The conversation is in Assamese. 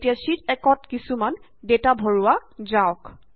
এতিয়া শ্যিট 1 ত কিছুমাণ ডেটা ভাৰোৱা যাওক